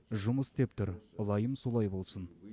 жұмыс істеп тұр ылайым солай болсын